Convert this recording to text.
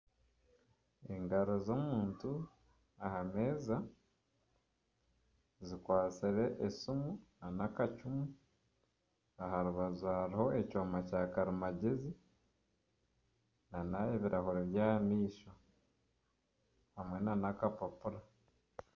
Engaro z'omuntu aha meeza zikwatsire esiimu n'akacumu aha rubaju hariho ekyoma kya karimagyezi n'ebirahuuri by'aha maisho hamwe n'akapapura.